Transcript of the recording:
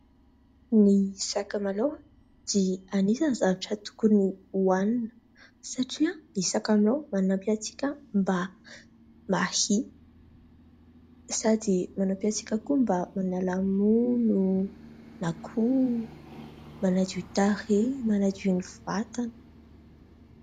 Ny sakamalao dia anisany zavatra tokony hoanina satria ny sakamalao manampy antsika mba hahia sady manampy antsika koa mba manala mony na koa manadio tarehy, manadio ny vatana.